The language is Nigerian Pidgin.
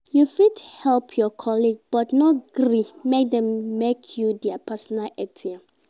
You fit help your colleague, but no gree make dem make you their personal ATM